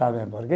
Sabe por quê?